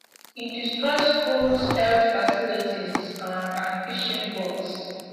e destroy schools health facilities um and fishing boats